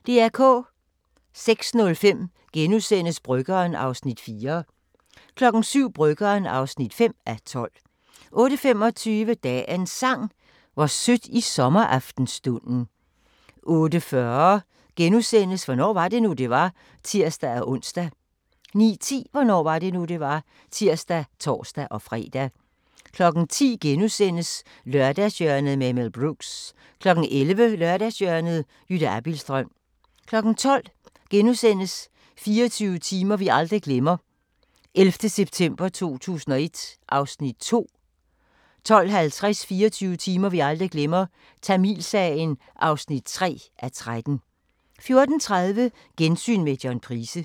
06:05: Bryggeren (4:12)* 07:00: Bryggeren (5:12) 08:25: Dagens Sang: Hvor sødt i sommeraftenstunden 08:40: Hvornår var det nu, det var? *(tir-ons) 09:10: Hvornår var det nu, det var? (tir og tor-fre) 10:00: Lørdagshjørnet med Mel Brooks * 11:00: Lørdagshjørnet – Jytte Abildstrøm 12:00: 24 timer vi aldrig glemmer – 11. september 2001 (2:13)* 12:50: 24 timer vi aldrig glemmer – Tamilsagen (3:13) 14:30: Gensyn med John Price